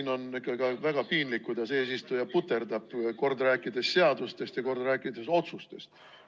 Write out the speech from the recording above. No on ikkagi väga piinlik, kuidas eesistuja puterdab, rääkides kord seadustest, kord otsustest.